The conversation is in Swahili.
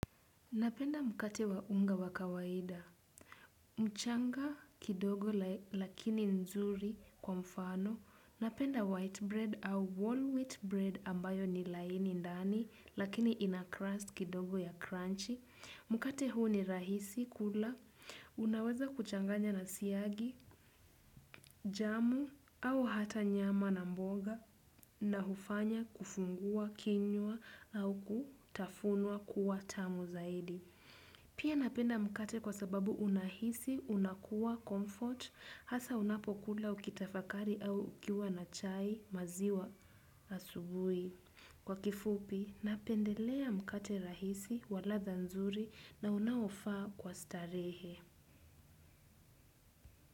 Napenda mkate wa unga wa kawaida. Mchanga kidogo lakini nzuri kwa mfano. Napenda white bread au wall wheat bread ambayo ni laini ndani lakini ina crust kidogo ya crunchy. Mkate huu ni rahisi kula. Unaweza kuchanganya na siagi, jamu au hata nyama na mboga na hufanya kufungua, kinyua au kutafunwa kuwa tamu zaidi. Pia napenda mkate kwa sababu unahisi, unakuwa, comfort, hasa unapokula ukitafakari au ukiwa na chai maziwa asubui. Kwa kifupi, napendelea mkate rahisi, wa ladha nzuri na unaofaa kwa starehe.